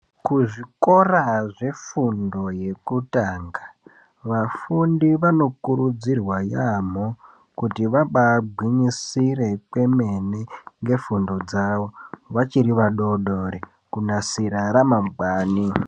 Kuzvikora zvefundo yekutanga vafundi vanokurudzirwa yaamho kuti vabagwinyisire kwemene nefundo dzavo vachiri vadodori kunasira ramangwani .